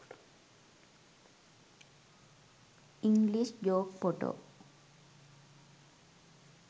english joke photo